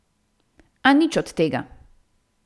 A nič od tega.